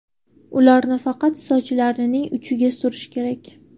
Ularni faqat sochlarning uchiga surish kerak.